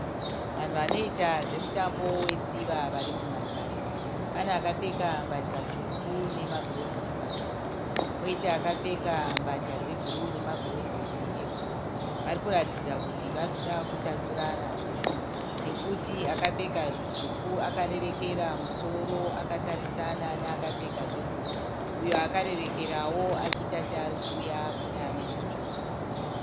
Vanhu vanoita zvemutambo wetsiva vari munhandare. Pane akapfeka mbatya tsvuku nemagirovhosi matsvuku. Poita akapfeka mbatya dzebhuruu nemagirivhosi ebhuruu. Varikuratidza kuti vari kuda kutatsanurana zveshuwa nekuti akapfeka zvitsvuku akarerekera musoro akatarisana neakapfeka zvebhuruu uyo akarerekerawo achiita seari kuuya kune ane zvitsvuku.